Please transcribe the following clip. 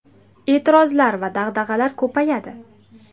E’tirozlar va dag‘dag‘alar ko‘payadi.